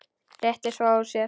Rétti svo úr sér.